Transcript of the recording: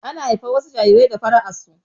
Ana haifar wasu jarirai da fara'ar su